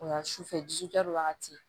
O ye a sufɛ wagati